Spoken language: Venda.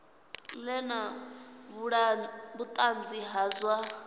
ḓe na vhuṱanzi ha zwa